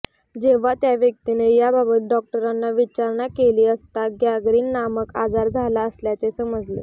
जेव्हा त्या व्यक्तीने याबाबत डॉक्टरांना विचारणा केली असता गँगरीन नामक आजार झाला असल्याचे समजले